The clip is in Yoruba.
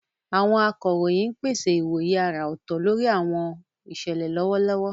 Àwọn akọ̀ròyìn ń pèsè ìwòye àrà ọ̀tọ̀ lórí àwọn ìṣẹ̀lẹ̀ lọ́wọ́lọ́wọ́.